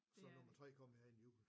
Så nummer 3 kommer her inden juli